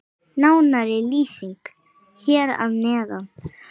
Nánari lýsing hér að neðan.